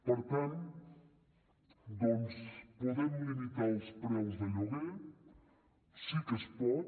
per tant doncs podem limitar els preus de lloguer sí que es pot